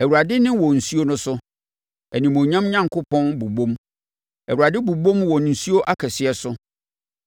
Awurade nne wɔ nsuo no so; animuonyam Onyankopɔn bobom, Awurade bobom wɔ nsuo akɛseɛ so.